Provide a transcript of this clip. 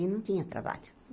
E não tinha trabalho.